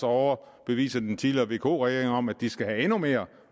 overbevise den tidligere vk regering om at de skal have endnu mere